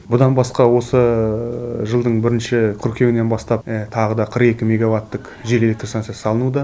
жылдың бірінші қыркүйегінен бастап тағы да қырық екі меговаттық жел электр станциясы салынуда